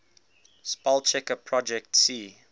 spellchecker projet c